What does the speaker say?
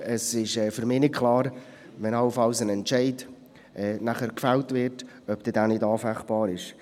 Zudem ist für mich nicht klar, wenn allenfalls nachher ein Entscheid gefällt wird, ob dieser dann nicht anfechtbar ist.